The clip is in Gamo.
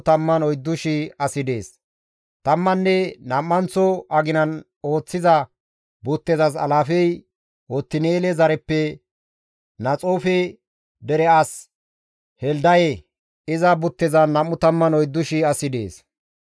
Tammanne nam7anththo aginan ooththiza buttezas alaafey Otin7eele zareppe Naxoofe dere as Heldaye; iza buttezan 24,000 asi dees.